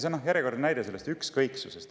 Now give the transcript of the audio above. See on järjekordne näide ükskõiksusest.